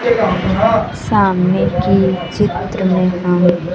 सामने की चित्र में हम--